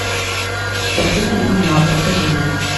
картина мяу мяу покажи мне